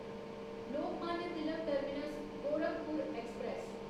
Lokmanya Tilak terminus Gorakhpur express